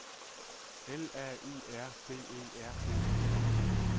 L A U R B E R G